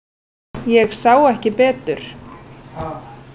Ég sá ekki betur.